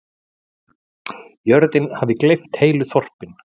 Jörðin hafi gleypt heilu þorpin.